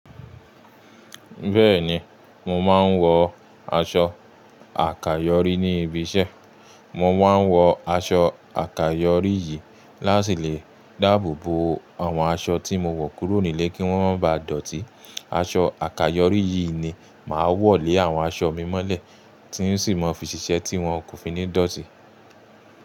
Bẹ́ẹ̀ni, mo máa ń wọ aṣọ àkàyọ́rí ní ibi iṣẹ́. Mo máa ń wọ aṣọ àkàyọ́rí yìí láti lè dáàbò bo àwọn aṣọ tí mo wọ̀ kúrò nílé kí wọ́n má ba dọ̀tí. Aṣọ àkàyọ́rí yìí ni màá wọ̀ lé àwọn aṣọ mi mọ́lẹ̀ tí sì máa fi ṣiṣẹ́ tí wọn kò fi ní dọ̀tí.